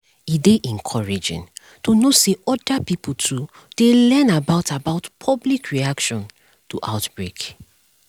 e dey encouraging to know say other pipo too dey learn about about public reaction to outbreak